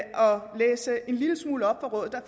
læse en lille smule op